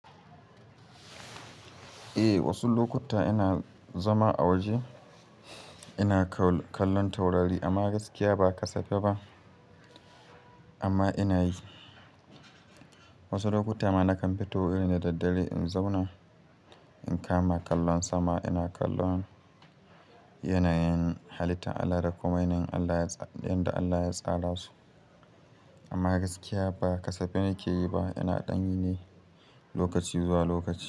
Eh, wasu lokuta ina zama a waje ina kallon taurari amma gaskiya ba kasafai ba amma ina yi. Wasu lokuta ma na kam fito irin da daddare in zauna in kama kallon sama, ina kallon yanayin halittar Allah da kuma yanayin Allah yanda Allah ya tsara su. Amma gaskiya ba kasafai nake yi ba, ina dan yi ne lokaci zuwa lokaci.